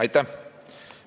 Aitäh!